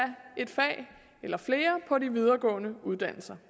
et eller flere på de videregående uddannelser